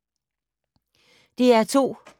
DR2